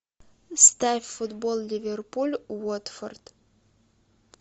ставь футбол ливерпуль уотфорд